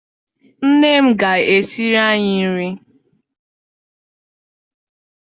Nne m ga- esiri anyị nri.